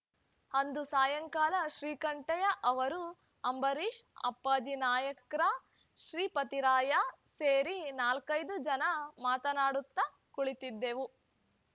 ಅಂದು ಸಾಯಂಕಾಲ ಶ್ರೀಕಂಠಯ್ಯ ಅವರು ಅಂಬರೀಶ್‌ ಅಪ್ಪಾಜಿ ನಾಯಕರ್‌ ಶ್ರೀಪತಿರಾಯ ಸೇರಿ ನಾಲ್ಕೈದು ಜನ ಮಾತನಾಡುತ್ತಾ ಕುಳಿತಿದ್ದೆವು